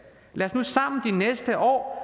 lad os nu sammen de næste år